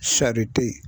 Sari tɛ